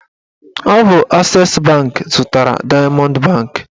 Ọ bụ ases banki zụtara dayamọnd banki